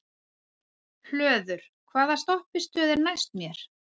Hlöður, hvaða stoppistöð er næst mér?